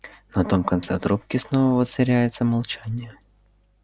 на том конце трубки снова воцаряется молчание